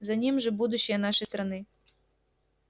за ним же будущее нашей страны